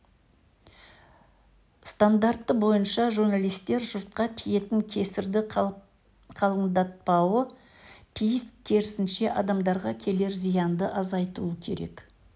стандарты бойынша журналистер жұртқа тиетін кесірді қалыңдатпауы тиіс керісінше адамдарға келер зиянды азайтуы керек